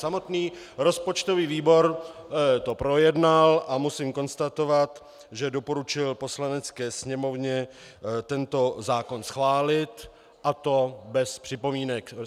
Samotný rozpočtový výbor to projednal a musím konstatovat, že doporučil Poslanecké sněmovně tento zákon schválit, a to bez připomínek.